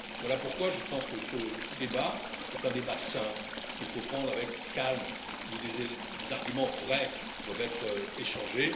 Voilà pourquoi je pense que ce débat est un débat sain, qu'il faut prendre avec calme et où des arguments vrais doivent être échangés.